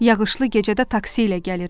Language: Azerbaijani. Yağışlı gecədə taksi ilə gəlirmiş.